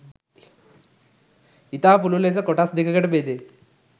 ඉතා පුළුල් ලෙස කොටස් දෙකකට බෙදේ.